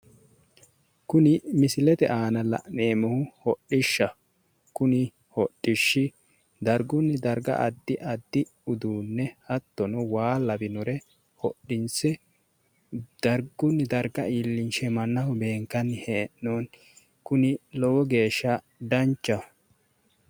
Kuni misilete aana la'neemohu hodhishaho kuni hodhishi darigguni dariga addi addi uduunne hattono waa lawinore hodhinise darigunni dariga iilinishe mannaho beenikkani he'nooni kuni lowo geesha danichaho